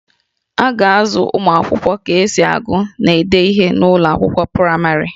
A ga-azụ ụmụ akwụkwọ ka esi agụ na ide ihe n'ụlọ akwụkwọ praịmarị